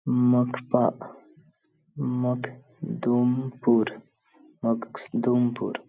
मख पा मध दुमपुर मखदुमपुर --